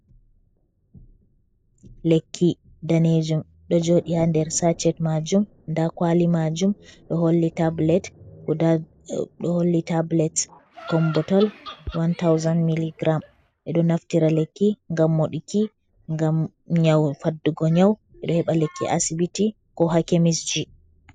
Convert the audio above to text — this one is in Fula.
Lekki daneejum ɗo joɗi haa nder sacet maajum. Da kwali maajum ɗo holli tabulet, ɗo holli tablet kombotal 1000 mili giram. Ɓeɗo naftira lekki ngam moɗuki, ngam nyau, faddugo nyau. Ɓeɗo heɓa lekki asibiti ko haa kemisji.